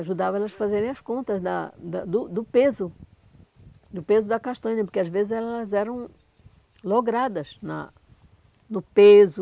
Ajudava elas fazerem as contas da da do do peso, do peso da castanha, porque às vezes elas eram logradas na no peso,